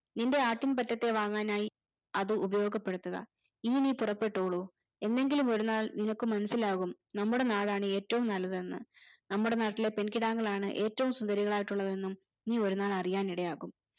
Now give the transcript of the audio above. നിന്റെ ആട്ടിൻപറ്റത്തെ വാങ്ങാനായി അത് ഉപയോഗപെടുത്തുക എനി നീ പുറപ്പെട്ടോളൂ എന്നെങ്കിലും ഒരു നാൾ നിനക്ക് മനസിലാകും നമ്മടെ നാടാണ് ഏറ്റവും നല്ലതെന്ന് നമ്മുടെ നാട്ടിലെ പെൺകിടാങ്ങളാണ് ഏറ്റവും സുന്ദരികളായിട്ടുള്ളതെന്നും നീ ഒരുനാൾ അറിയാനിടയാകും